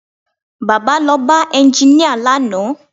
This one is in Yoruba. Baba lọ bá ẹnginíà lánàá